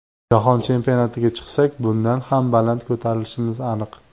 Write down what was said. Jahon chempionatiga chiqsak bundan ham baland ko‘tarilishimiz aniq.